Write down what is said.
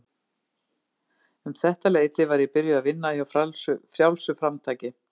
Um þetta leyti var ég byrjuð að vinna hjá Frjálsu framtaki.